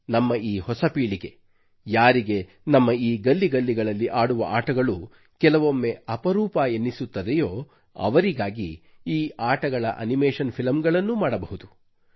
ನಮ್ಮ ಈ ಹೊಸ ಪೀಳಿಗೆ ಯಾರಿಗೆ ನಮ್ಮ ಈ ಗಲ್ಲಿ ಗಲ್ಲಿಗಳಲ್ಲಿ ಆಡುವ ಆಟಗಳು ಕೆಲವೊಮ್ಮೆ ಅಪರೂಪ ಎನಿಸುತ್ತದೆಯೋ ಅವರಿಗಾಗಿ ಈ ಆಟಗಳ ಅನಿಮೇಷನ್ ಫಿಲಂಗಳನ್ನೂ ಮಾಡಬಹುದು